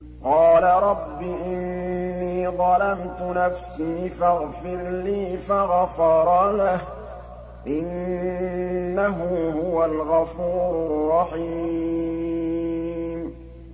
قَالَ رَبِّ إِنِّي ظَلَمْتُ نَفْسِي فَاغْفِرْ لِي فَغَفَرَ لَهُ ۚ إِنَّهُ هُوَ الْغَفُورُ الرَّحِيمُ